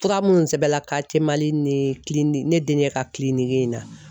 Fura minnu sɛbɛnna Mali ni ne denkɛ ka in na